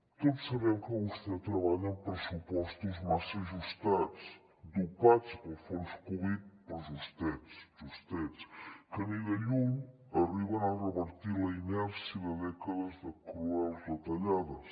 tots sabem que vostè treballa amb pressupostos massa ajustats dopats pels fons covid però justets que ni de lluny arriben a revertir la inèrcia de dècades de cruels retallades